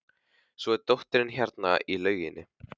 Svo er dóttirin hérna í lauginni.